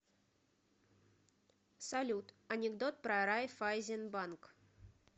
салют анекдот про райффайзенбанк